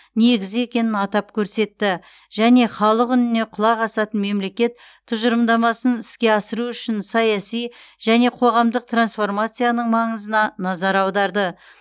негізі екенін атап көрсетті және халық үніне құлақ асатын мемлекет тұжырымдамасын іске асыру үшін саяси және қоғамдық трансформацияның маңызына назар аударды